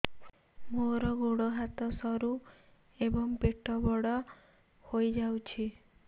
ମୋର ଗୋଡ ହାତ ସରୁ ଏବଂ ପେଟ ବଡ଼ ହୋଇଯାଇଛି